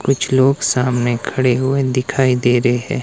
कुछ लोग सामने खड़े हुए दिखाई दे रहे--